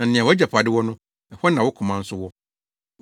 Na nea wʼagyapade wɔ no, ɛhɔ na wo koma nso wɔ.